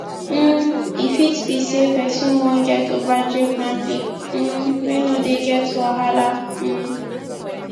um e fit be sey person wan get ogbonge family um wey no dey get wahala um